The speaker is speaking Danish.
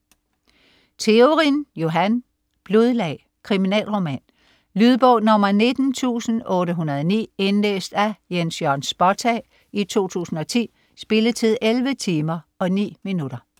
Theorin, Johan: Blodlag Kriminalroman. Lydbog 19809 Indlæst af Jens Jørn Spottag, 2010. Spilletid: 11 timer, 9 minutter.